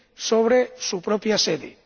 sobre su propia sede.